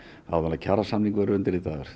áður en kjarasamningar verða undirritaðir